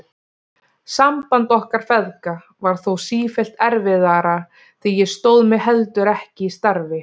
Samband okkar feðga varð þó sífellt erfiðara því ég stóð mig heldur ekki í starfi.